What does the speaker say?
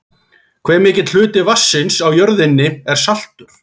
Hve mikill hluti vatnsins á jörðinni er saltur?